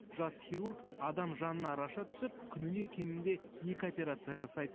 жас хирург адам жанына араша түсіп күніне кемінде екі операция жасайды